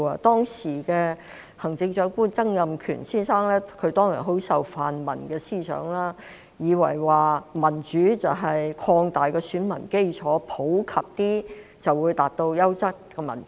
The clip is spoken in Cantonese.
當時的行政長官曾蔭權先生很受泛民思想影響，以為民主就是擴大選民基礎，普及一些便可以達到優質民主。